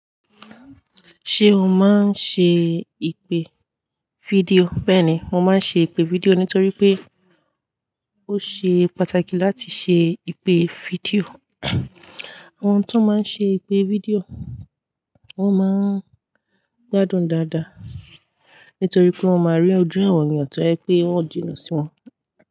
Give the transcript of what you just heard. Ṣé o máa ń ṣe ìpè fídíò? Bẹ́ẹ̀ni, mo máa ń ṣe ìpè fídíò nítorí pé ó ṣe pàtàkì láti ṣe ìpè fídíò. Àwọn tó máa ń ṣe ìpè fídíò wọ́n máa ń gbádùn dáadáa. Nítorí pé wọ́n máa rí ojú àwọn ènìyàn tó rjẹ pé wọ́n jinnà sí wọn.